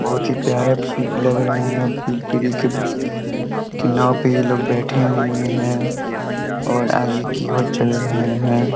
बहुत ही प्यारे पीक लग रहा है की नाव पे ये लोग बैठे हुए हैं और आगे की और चल रहे हैं ।